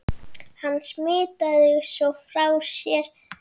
Hann smitaði svo frá sér.